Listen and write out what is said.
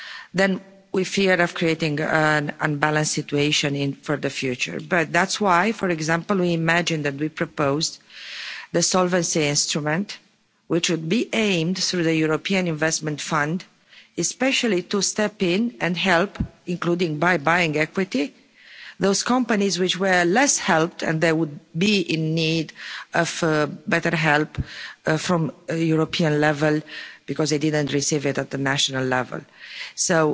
Then we feared creating an unbalanced situation for the future. But that's why, for example, we imagine that we proposed the solvency instrument, which would be aimed through the European Investment Fund, especially to step in and help, including by buying equity, those companies which were less helped and they would be in need of better help at the European level because they didn't receive it at the national level.